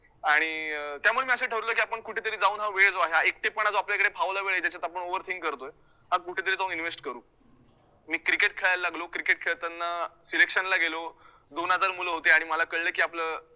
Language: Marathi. आणि अं त्यामुळे मी असं ठरवलं की आपण कुठेतरी जाऊन हा वेळ जो आहे हा एकटेपणा जो आपल्याकडे फावला वेळ आहे, त्याच्यात आपण over think करतोय हा कुठेतरी जाऊन invest करु. मी cricket खेळायला लागलो cricket खेळताना selection ला गेलो, दोन हजार मुलं होती आणि मला कळलं की आपलं sele